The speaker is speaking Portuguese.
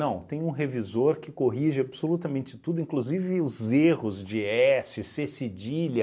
tem um revisor que corrige absolutamente tudo, inclusive os erros de esse cê cedilha,